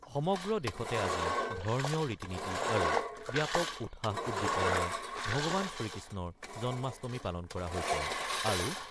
সমগ্ৰ দেশতে আজি ধৰ্মীয় ৰীতি-নীতি আৰু ব্যাপক উৎসাহ-উদ্দীপনাৰ ভগৱান শ্ৰীকৃষ্ণৰ জন্মাষ্টমী পালন কৰা হৈছে। আৰু